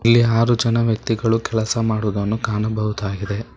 ಇಲ್ಲಿ ಹಾರು ಜನ ವ್ಯಕ್ತಿಗಳು ಕೆಲಸ ಮಾಡುದನ್ನು ಕಾಣಬಹುದಾಗಿದೆ